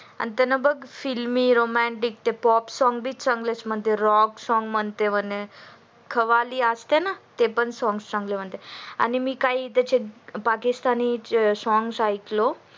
आणि त्याला बघ filmy romantic song बि छानच म्हणते rock song